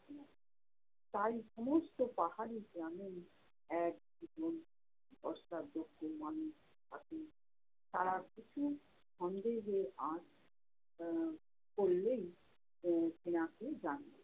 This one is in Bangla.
তাই সমস্ত পাহাড়ি গ্রামে এক মানুষ থাকে। তারা কিছু সন্দেহের আঁচ আহ করলেই আহ সেনাকে জানায়